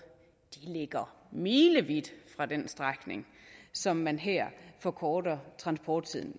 milevidt fra den strækning som man her forkorter transporttiden